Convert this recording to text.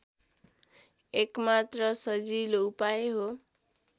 एकमात्र सजिलो उपाय हो